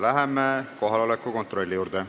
Läheme kohaloleku kontrolli juurde.